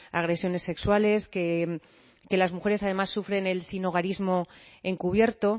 agresiones sexuales que las mujeres además sufren el sinhogarismo encubierto